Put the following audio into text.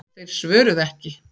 Þeir svöruðu ekki.